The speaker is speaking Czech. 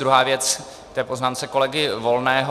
Druhá věc k té poznámce kolegy Volného.